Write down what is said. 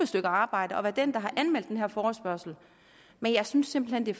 stykke arbejde og været den der har anmeldt den her forespørgsel men jeg synes simpelt hen det